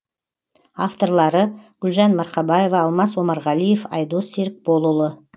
авторлары гүлжан марқабаева алмас омарғалиев айдос серікболұлы